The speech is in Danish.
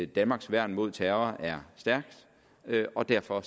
danmarks værn mod terror er stærkt og derfor